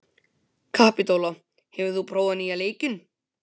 Kapitola, hefur þú prófað nýja leikinn?